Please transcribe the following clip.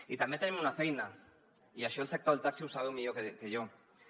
i també tenim una feina i això al sector del taxi ho sabeu millor que jo